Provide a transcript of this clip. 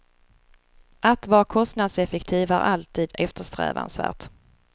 Att vara kostnadseffektiv är alltid eftersträvansvärt.